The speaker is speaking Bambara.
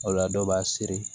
O la dɔ b'a seri